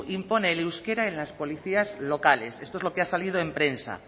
impone el euskera en las policías locales esto es lo que ha salido en prensa